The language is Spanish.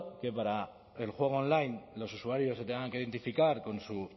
que para el juego online los usuarios se tengan que identificar con su